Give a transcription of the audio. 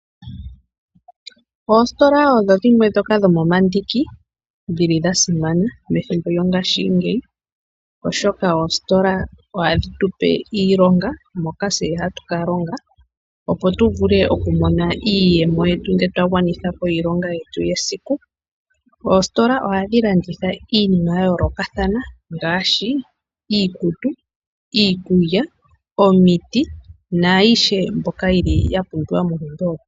Oositola odho dhimwe ndhoka dhomomandiki dhili dha simana methimbo lyongaashingeyi, oshoka ositola ohadhi tu pe iilonga moka tse hatu ka longa opo tu vule oku mona iiyemo ngele twa gwanitha po iilonga yetu yesiku. Oositola ohadhi landitha iinima ya yoolokathana ngaashi iikutu, iikulya, omiti nayiihe mbyoka ya pumbiwa monkalamwenyo.